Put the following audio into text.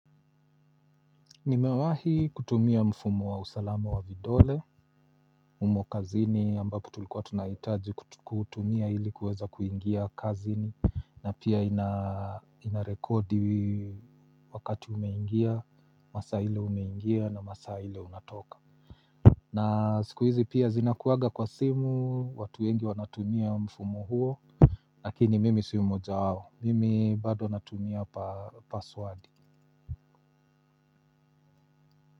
Nimewahi kutumia mfumo wa usalama wa vidole umo kazini ambapo tulikuwa tunahitaji kutumia ili kuweza kuingia kazini na pia inarekodi wakati umeingia masaa ile umeingia na masaa ile unatoka na siku hizi pia zinakuwaga kwa simu watu wengi wanatumia mfumo huo lakini mimi sio mojawao mimi bado natumia pa password.